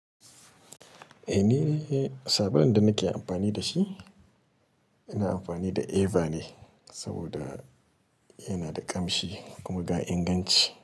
Eh ne, sabodin da nake amfani da shi ina amfani da Eva ne saboda yana da ƙamshi kuma ga inganci.